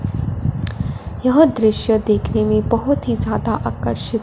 यह दृश्य देखने में बहोत ही ज्यादा आकर्षि--